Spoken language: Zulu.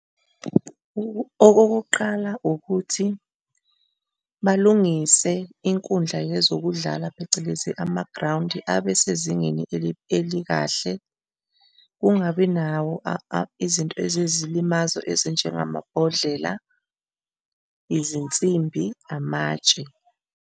Okokuqala ukuthi balungise inkundla yezokudlala, phecelezi amagrawundi abe sezingeni elikahle, kungabi nawo izinto eziyizilimazo ezinjengamabhodlela, izinsimbi, amatshe.